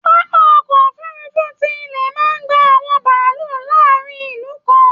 Pápá ọkọ òfurùnfu tí ilẹ máa n gbà àwọn bàálù láàrin ìlú kan.